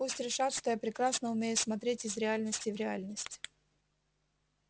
пусть решат что я прекрасно умею смотреть из реальности в реальность